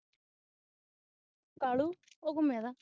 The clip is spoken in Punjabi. ਕਾਲੂ ਉਹ ਘੁੰਮੇਂਦਾ